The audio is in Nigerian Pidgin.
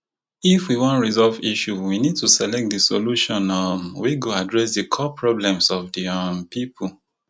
if we wan resolve issue we need to select di solution um wey go address di core problems of di um pipo